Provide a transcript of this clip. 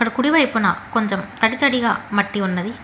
కుడివైపున కొంచెం తడి తడిగా మట్టి ఉన్నది.